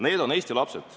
Need on Eesti lapsed.